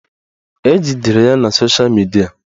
Ejidere ya sosha midia